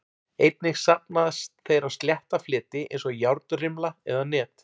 Einnig safnast þeir á slétta fleti eins og járnrimla eða net.